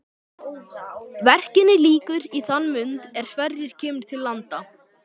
Verkinu lýkur í þann mund er Sverrir kemur til landa.